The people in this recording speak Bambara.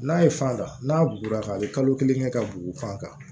N'a ye fan ta n'a bugura ka kalo kelen kɛ ka bugu fan kan